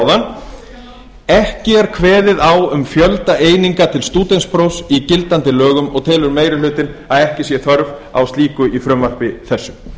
áðan ekki er kveðið á um fjölda eininga til stúdentsprófs í gildandi lögum og telur meiri hlutinn að ekki sé þörf á slíku í frumvarpi þessu ég